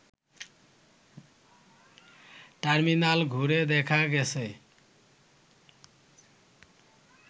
terminal ঘুরে দেখা গেছে